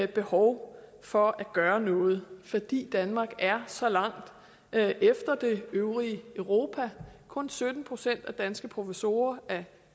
behov for at gøre noget fordi danmark er så langt efter det øvrige europa kun sytten procent af de danske professorer er